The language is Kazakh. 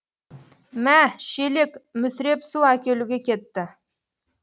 мә шелек мүсіреп су әкелуге кетті